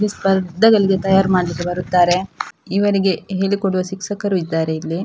ಈ ಸ್ಪರ್ಧೆಗಳಿಗೆ ತಯಾರು ಮಾಡ್ಲಿಕ್ಕೆ ಬರುತ್ತಾರೆ ಇವರಿಗೆ ಹೇಳಿ ಕೊಡುವ ಶಿಕ್ಷಕರೂ ಇದ್ದಾರೆ ಇಲ್ಲಿ.